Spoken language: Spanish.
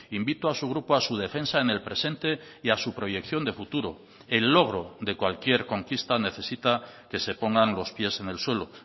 invito a su grupo a su defensa en el presente y a su proyección de futuro el logro de cualquier conquista necesita que se pongan los pies en el suelo